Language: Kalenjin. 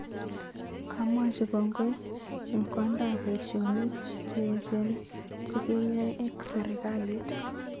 Kamwachi kongoi ,"en kondak paishonik che echeng chekeyae ak serkalit